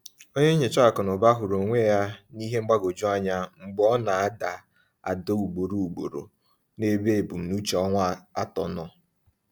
Onye nyocha akụ na ụba hụrụ onwe ya n’ihe mgbagwoju anya mgbe ọ na-ada ada ugboro ugboro n’ebe ebumnuche ọnwa atọ nọ.